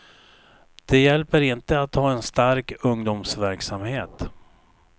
Det hjälper inte att ha en stark ungdomsverksamhet.